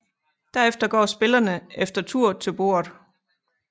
Derefter går spillerne efter tur til bordet